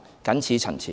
謹此陳辭。